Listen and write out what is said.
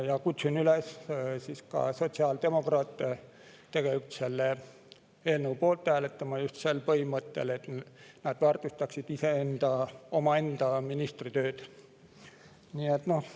Ma kutsun ka sotsiaaldemokraate üles selle eelnõu poolt hääletama just sel põhimõttel, et nad väärtustaksid omaenda ministri tööd.